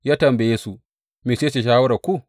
Ya tambaye su, Mece ce shawararku?